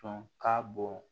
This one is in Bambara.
Sɔn ka bon